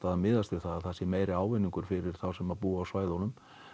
að miðast við það að það sé meiri ávinningur fyrir þá sem búa á svæðunum